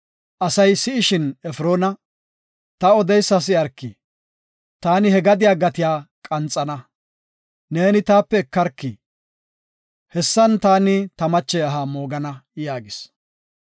asay si7ishin Efroona, “Ta odeysa si7arki! Taani he gadiya gate qanxana; neeni taape ekarki. Hessan taani ta mache aha moogana” yaagis.